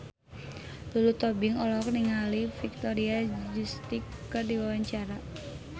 Lulu Tobing olohok ningali Victoria Justice keur diwawancara